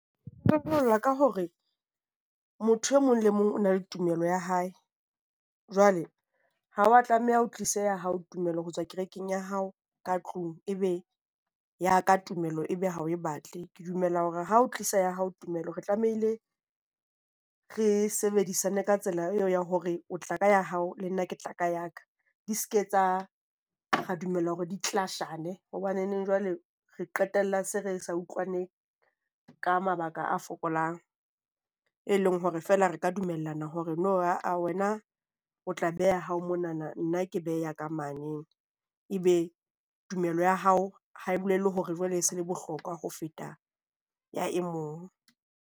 Ka hore motho e mong le mong o na le tumelo ya hae, jwale ha wa tlameha o tlise ya hao tumello ho tswa kerekeng ya hao ka tlung. Ebe ya ka tumelo e be ha o e batle. Ke dumela hore ha o tlisa ya hao tumelo, re tlamehile re sebedisana ka tsela eo ya hore o tla ka ya hao. Le nna ke tla ka ya ka. Di seka etsa re dumella hore di clash-ane hobane jwale re qetella se re se utlwane ka mabaka a fokolang, e leng hore feela re ka dumellana hore no ae wena o tla beha ya hao monana, nna ke beha ya ka mane. Ebe tumelo ya hao ha e bolele hore jwale e se e le bohlokwa ho feta ya e mong.